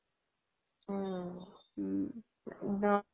অহ